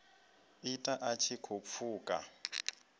ita a tshi khou pfuka